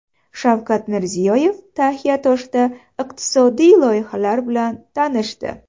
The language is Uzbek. Shavkat Mirziyoyev Taxiatoshda iqtisodiy loyihalar bilan tanishdi.